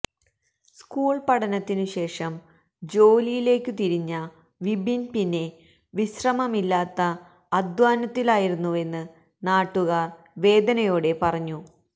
school പഠനത്തിനുശേഷം ജോലിയിലേക്കു തിരിഞ്ഞ വിപിൻ പിന്നെ വിശ്രമമില്ലാത്ത അധ്വാനത്തിലായിരുന്നുവെന്ന് നാട്ടുകാർ വേദനയോടെ പറഞ്ഞു